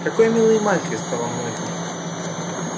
какой милый мальчик сказала мамулька